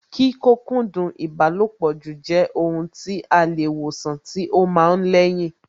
Kí kókúndùn ìbálòpọ̀ jù jẹ́ ohun tí a lè wòsàn tí ó ma ń lẹ́yìn